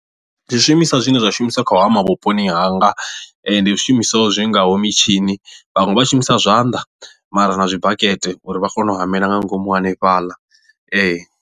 Zwishumiswa zwine zwa shumiswa kha u hama vhuponi hanga ndi zwishumiswa zwi ngaho mitshini vhaṅwe vha shumisa zwanḓa mara na zwi bakete uri vha kone u humela nga ngomu hanefhaḽa.